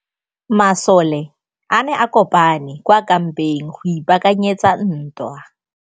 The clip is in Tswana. Masole a ne a kopane kwa kampeng go ipaakanyetsa ntwa.